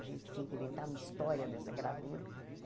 A gente tinha que inventar uma história dessa gravura.